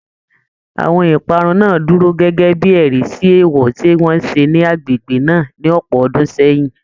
Àwọn ìparun náà dúró gẹ́gẹ́ bí ẹ̀rí sí èèwọ̀ tí wọ́n ṣe ní agbègbè náà ní ọ̀pọ̀ ọdún sẹ́yìn